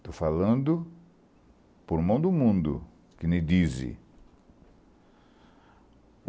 Estou falando por mão do mundo, que me dizem.